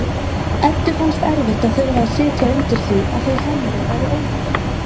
Eddu fannst erfitt að þurfa að sitja undir því að þau Hemmi væru óþroskaðri